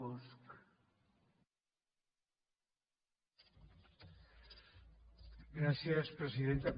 gràcies presidenta